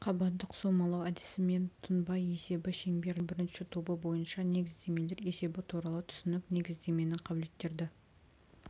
қабаттық соммалау әдісімен тұнба есебі шеңберлік жағдайдың бірінші тобы бойынша негіздемелер есебі туралы түсінік негіздеменің қабілеттерді